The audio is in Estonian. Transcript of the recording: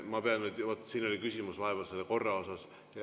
Ma pean nüüd, siin oli vahepeal küsimus selle korra kohta.